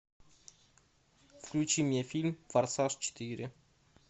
включи мне фильм форсаж четыре